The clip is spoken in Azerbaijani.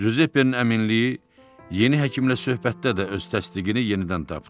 Cüzeppenin əminliyi yeni həkimlə söhbətdə də öz təsdiqini yenidən tapdı.